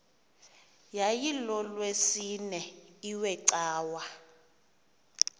yayilolwesine iwe cawa